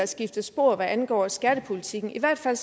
skiftet spor hvad angår skattepolitikken i hvert fald